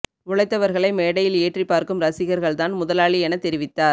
உழைத்தவர்களை மேடையில் ஏற்றிப் பார்க்கும் ரசிகர்கள் தான் முதலாளி என தெரிவித்தார்